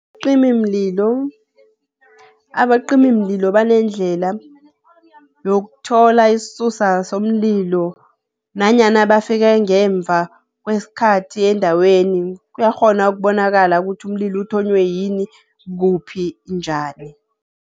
Abacimimlilo banendlela yokuthola isisusa somlilo nanyana bafike ngemva kwesikhathi endaweni, kuyakghona ukubonakala ukuthi umlilo uthonywe yini? Kuphi? Njani?